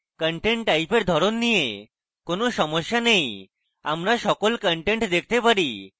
content type এর ধরণ নিয়ে কোনো সমস্যা নেই আমরা সকল content দেখতে পারি